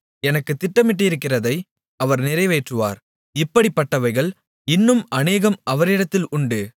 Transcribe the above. எனக்கு திட்டமிட்டிருக்கிறதை அவர் நிறைவேற்றுவார் இப்படிப்பட்டவைகள் இன்னும் அநேகம் அவரிடத்தில் உண்டு